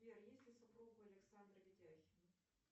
сбер есть ли супруга у александра ведяхина